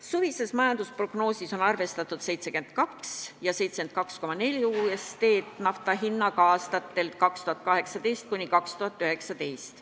Suvises majandusprognoosis on arvestatud hinnaga 72 ja 72,4 USD-d barreli eest aastatel 2018 ja 2019.